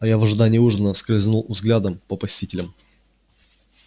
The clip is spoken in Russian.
а я в ожидании ужина скользнул взглядом по посетителям